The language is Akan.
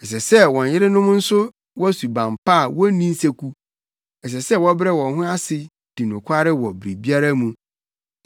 Ɛsɛ sɛ wɔn yerenom nso wɔ suban pa a wonni nseku. Ɛsɛ sɛ wɔbrɛ wɔn ho ase di nokware wɔ biribiara mu.